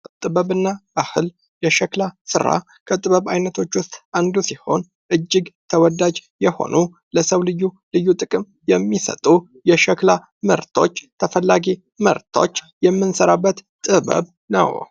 ጥበብ እና ባህል የሸክላ ስራ ከጥበብ አይነቶች ውስጥ አንዱ ሲሆን እጅግ ተወዳጅ የሆኑ ለሰው ልዩ ልዩ ጥቅም የሚሰጡ የሸክላ ምርቶች ተፈላጊ ምርቶች የምንሰራበት ጥበብ ነው።